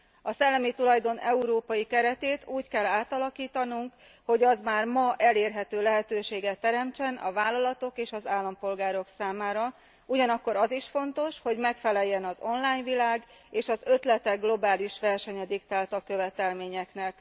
A szellemi tulajdon európai keretét úgy kell átalakítanunk, hogy az már ma elérhető lehetőséget teremtsen a vállalatok és az állampolgárok számára, ugyanakkor az is fontos, hogy megfeleljen az online világ és az ötletek globális versenye diktálta követelményeknek.